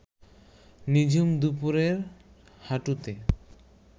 নিঝুম দুপুরের হাঁটুতে